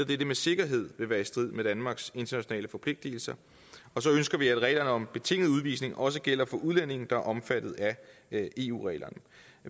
dette med sikkerhed vil være i strid med danmarks internationale forpligtelser og så ønsker vi at reglerne om betinget udvisning også gælder for udlændinge der er omfattet af eu reglerne